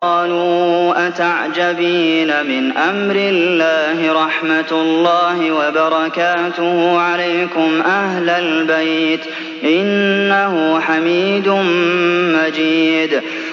قَالُوا أَتَعْجَبِينَ مِنْ أَمْرِ اللَّهِ ۖ رَحْمَتُ اللَّهِ وَبَرَكَاتُهُ عَلَيْكُمْ أَهْلَ الْبَيْتِ ۚ إِنَّهُ حَمِيدٌ مَّجِيدٌ